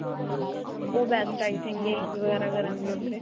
ਉਹ best ਹੈ I think games ਵਗੈਰਾ ਕਰਨ ਲਈ ਉਥੇ.